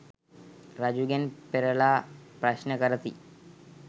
රජුගෙන් පෙරළා ප්‍රශ්න කරති.